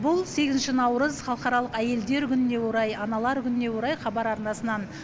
бұл сегізінші наурыз халықаралық әйелдер күніне орай аналар күніне орай хабар арнасынан